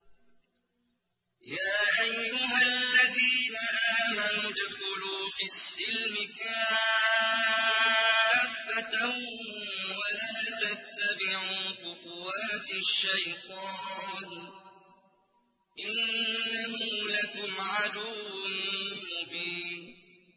يَا أَيُّهَا الَّذِينَ آمَنُوا ادْخُلُوا فِي السِّلْمِ كَافَّةً وَلَا تَتَّبِعُوا خُطُوَاتِ الشَّيْطَانِ ۚ إِنَّهُ لَكُمْ عَدُوٌّ مُّبِينٌ